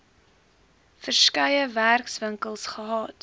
verskeie werkswinkels gehad